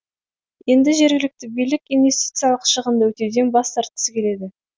енді жергілікті билік инвестициялық шығынды өтеуден бас тартқысы келеді